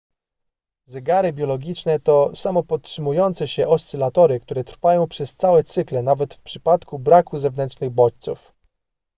zegary biologiczne to samopodtrzymujące się oscylatory które trwają przez całe cykle nawet w przypadku braku zewnętrznych bodźców